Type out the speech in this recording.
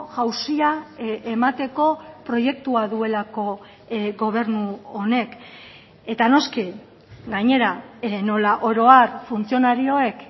jauzia emateko proiektua duelako gobernu honek eta noski gainera nola oro har funtzionarioek